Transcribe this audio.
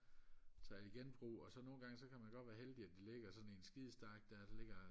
tager jeg i genbrug og så nogle gange så kan man godt være heldig at de ligger i sådan en skide stak der så ligger